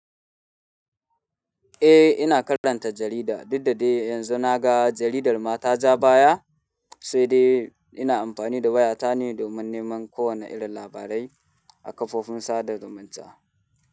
Eh ina karanta jarida, duk da dai yanzu na ga jaridar ma ta ja baya. Sai dai ina amfani da waya ta ne domin neman kowanne irin labarai a kafofin sada zumunta.